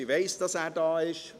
Ich weiss, dass er da ist.